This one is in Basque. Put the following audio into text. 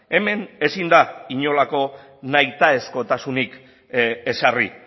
hemen ezin da inolako nahitaezkotasunik ezarri